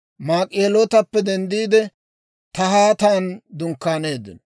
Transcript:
Maak'ihelootappe denddiide, Tahaatan dunkkaaneeddino.